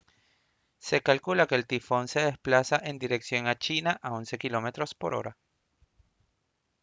se calcula que el tifón se desplaza en dirección a china a 11 km/h